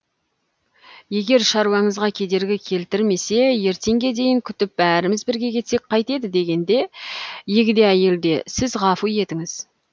егер шаруаңызға кедергі келтірмесе ертеңге дейін күтіп бәріміз бірге кетсек қайтеді дегенде егде әйел де сіз ғафу етіңіз